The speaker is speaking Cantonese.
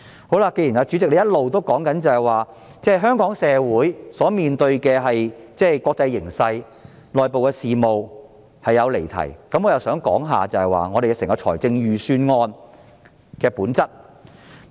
既然主席一直說我談及香港社會面對的國際形勢及內部事務是離題，我想談談預算案的本質。